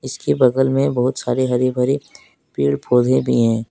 इसके बगल में बहुत सारे हरे भरे पेड़ पौधे भी हैं।